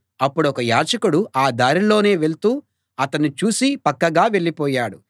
అప్పుడొక యాజకుడు ఆ దారినే వెళ్తూ అతణ్ణి చూసి పక్కగా వెళ్ళిపోయాడు